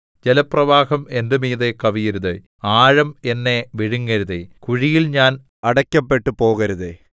ജലപ്രവാഹം എന്റെ മീതെ കവിയരുതേ ആഴം എന്നെ വിഴുങ്ങരുതേ കുഴിയിൽ ഞാൻ അടയ്ക്കപ്പെട്ടുപോകരുതെ